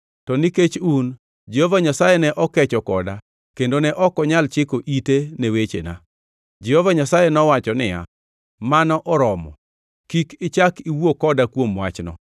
To nikech un, Jehova Nyasaye ne okecho koda kendo ne ok onyal chiko ite ne wechena. Jehova Nyasaye nowacho niya, “Mano oromo, kik ichak iwuo koda kuom wachno.